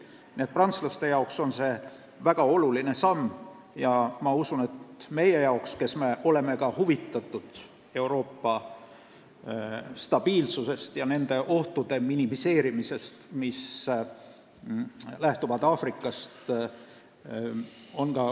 Nii et prantslaste jaoks on see väga oluline samm ja ma usun, et ka meie jaoks, kes me oleme samuti huvitatud Euroopa stabiilsusest ja nende ohtude minimeerimisest, mis lähtuvad Aafrikast.